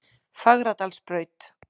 Fagradalsbraut